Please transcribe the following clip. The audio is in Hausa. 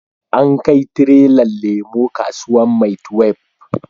An kai tirelan lemo kasuwan maitwef